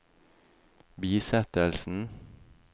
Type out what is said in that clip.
bisettelsen